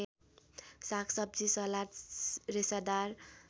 सागसब्जी सलाद रेसादार